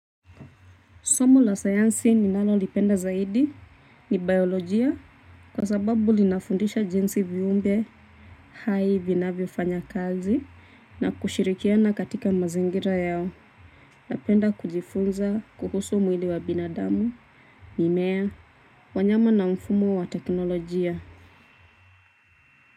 Somo la sayansi ninalo lipenda zaidi ni biolojia kwa sababu linafundisha jinsi viumbe hai vinavyofanya kazi na kushirikiana katika mazingira yao napenda kujifunza kuhusu mwili wa binadamu mimea wanyama na mfumo wa teknolojia.